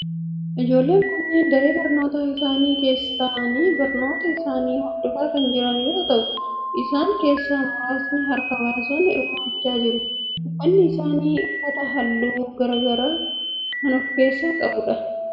Ijoolleen kunneen daree barnootaa isaanii keessa ta'aani barnoota isaanii hordofaa kan jiran yoo ta'u isaan keessaa muraasni harka baasun hirmaachaa jiru. Uffanni isaan uffatan halluu garaa garaa of keessaa qaba.